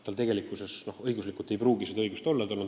Tal ei pruugi mingit konkreetset õigust olla.